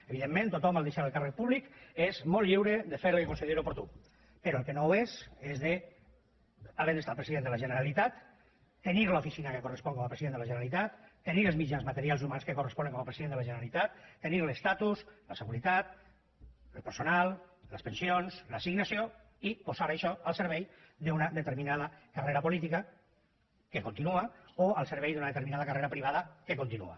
evidentment tothom en deixar el càrrec públic és molt lliure de fer el que consideri oportú però el que no ho és és de havent estat president de la generalitat tenir l’oficina que correspon com a president de la generalitat tenir els mitjans materials i humans que corresponen com a president de la generalitat tenir l’estatus la seguretat el personal les pensions l’assignació i posar això al servei d’una determinada carrera política que continua o al servei d’una determinada carrera privada que continua